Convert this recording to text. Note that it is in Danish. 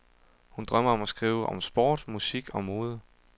Hun drømmer om at skrive om sport, musik og mode.